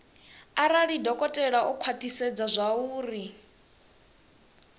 arali dokotela o khwathisedza zwauri